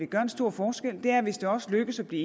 gøre en stor forskel er hvis det også lykkes at blive